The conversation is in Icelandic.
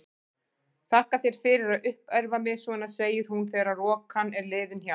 Þakka þér fyrir að uppörva mig svona, segir hún þegar rokan er liðin hjá.